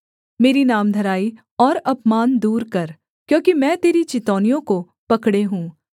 मेरी नामधराई और अपमान दूर कर क्योंकि मैं तेरी चितौनियों को पकड़े हूँ